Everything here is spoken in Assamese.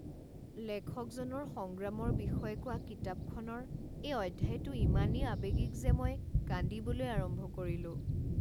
লেখকজনৰ সংগ্ৰামৰ বিষয়ে কোৱা কিতাপখনৰ এই অধ্যায়টো ইমানেই আৱেগিক যে মই কান্দিবলৈ আৰম্ভ কৰিলোঁ।